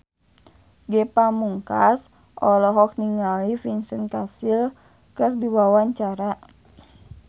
Ge Pamungkas olohok ningali Vincent Cassel keur diwawancara